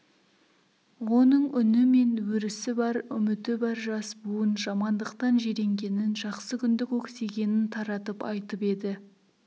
оның үні мен өрісі бар үміті бар жас буын жамандықтан жиренгенін жақсы күнді көксегенін таратып айтып еді